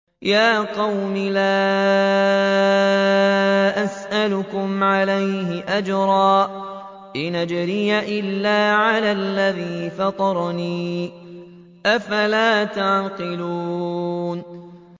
يَا قَوْمِ لَا أَسْأَلُكُمْ عَلَيْهِ أَجْرًا ۖ إِنْ أَجْرِيَ إِلَّا عَلَى الَّذِي فَطَرَنِي ۚ أَفَلَا تَعْقِلُونَ